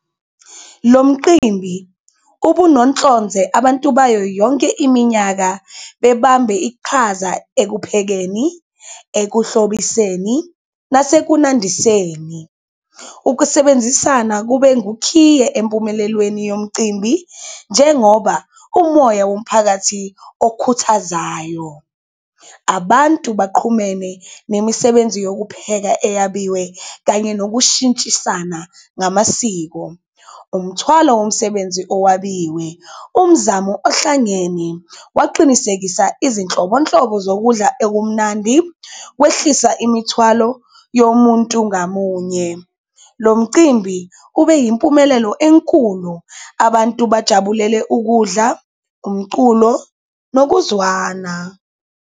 Lo mqimbi ubunohlonze abantu bayo yonke iminyaka bebambe iqhaza ekuphekeni, ekuhlobiseni nasekunandiseni, ukusebenzisana kube ngukhiye empumelelweni yomcimbi, njengoba umoya womphakathi okhuthazayo. Abantu baqhumene nemisebenzi yokupheka eyabiwe kanye nokushintshisana ngamasiko, umthwalo womsebenzi owabiwe, umzamo ohlangene waqinisekisa izinhlobonhlobo zokudla okumnandi, kwehlisa imithwalo yomuntu ngamunye. Lo mcimbi ube yimpumelelo enkulu abantu bajabulele ukudla, umculo nokuzwana.